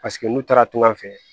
Paseke n'u taara tungan fɛ